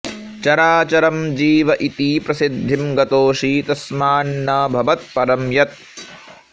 चराचरं जीव इति प्रसिद्धिं गतोऽसि तस्मान्न भवत्परं यत्